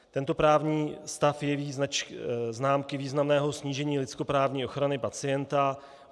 Tento právní stav jeví známky významného snížení lidskoprávní ochrany pacienta.